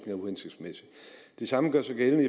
er uhensigtsmæssig det samme gør sig gældende